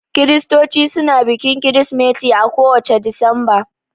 Kiristoci suna bikin kirismeti a ko wacce Disamba